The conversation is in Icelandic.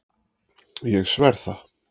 Ég sver það.